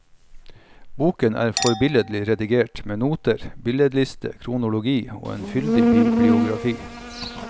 Boken er forbilledlig redigert, med noter, billedliste, kronologi og en fyldig bibliografi.